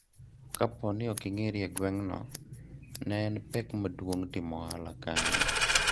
kapo ni ok ing'eri e gweng' no, ne en pek maduong' timo ohala kanyo